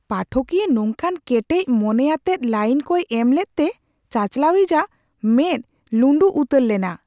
ᱯᱟᱴᱷᱚᱠᱤᱭᱟᱹ ᱱᱚᱝᱠᱟᱱ ᱠᱮᱴᱮᱡ ᱢᱚᱱᱮᱭᱟᱛᱮᱫ ᱞᱟᱭᱤᱱ ᱠᱚᱭ ᱮᱢᱞᱮᱫ ᱛᱮ ᱪᱟᱪᱟᱞᱟᱣᱤᱡ ᱟᱜ ᱢᱮᱫ ᱞᱩᱸᱰᱩ ᱩᱛᱟᱹᱨ ᱞᱮᱱᱟ ᱾